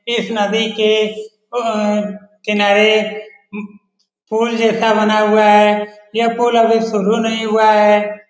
इस नदी के किनारे पुल जैसा बना हुआ है। यह पुल अभी शुरू नहीं हुआ है।